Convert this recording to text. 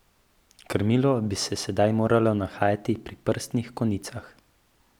Krmilo bi se sedaj morala nahajati pri prstnih konicah.